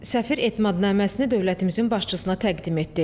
Səfir etimadnaməsini dövlətimizin başçısına təqdim etdi.